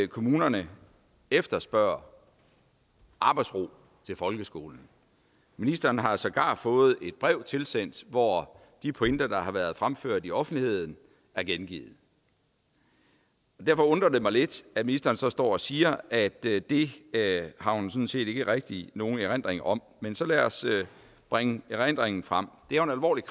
kommunerne efterspørger arbejdsro til folkeskolen ministeren har sågar fået et brev tilsendt hvor de pointer der har været fremført i offentligheden er gengivet derfor undrer det mig lidt at ministeren så står og siger at det det har hun sådan set ikke rigtig nogen erindring om men så lad os bringe erindringen frem det er jo alvorligt